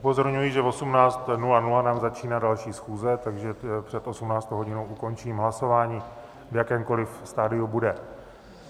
Upozorňuji, že v 18.00 nám začíná další schůze, takže před 18. hodinou ukončím hlasování, v jakémkoliv stadiu bude.